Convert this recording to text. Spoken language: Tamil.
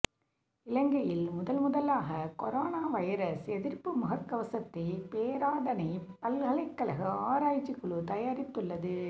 இலங்கையில் முதல் முதலாக கொரோனா வைரஸ் எதிர்ப்பு முகக் கவசத்தை பேராதனைப் பல்கலைக்கழக ஆராய்ச்சி குழு தயாரித்துள்ளது